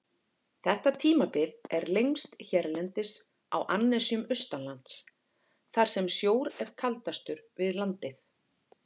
Þetta tímabil er lengst hérlendis á annesjum austanlands, þar sem sjór er kaldastur við landið.